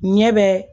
Ɲɛ bɛ